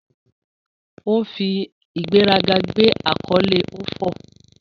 O fi igberaga gbe akole Ofor